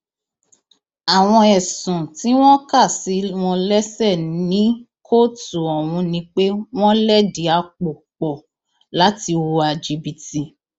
àwọn ẹsùn tí wọn kà sí wọn lẹsẹ ní kóòtù ọhún ni pé wọn lẹdí àpò pọ láti hùwà jìbìtì